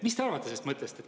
Mis te arvate sellest mõttest?